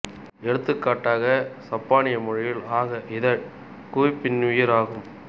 எடுத்துக்காட்டாக சப்பானிய மொழியில் அக இதழ் குவி பின்னுயிர் ஆகும்